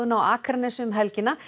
á Akranesi um helgina